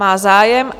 Má zájem.